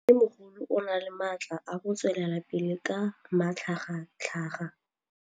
Mmêmogolo o na le matla a go tswelela pele ka matlhagatlhaga.